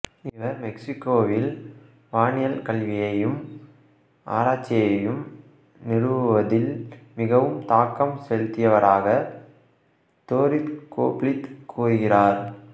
இவர் மெக்சிகோவில் வானியல் கல்வியையும்ஆராய்ச்சியையும் நிறுவுவதில் மிகவும் தாக்கம் செலுத்தியவரக தோரித் கோப்லீத் கூறுகிறார்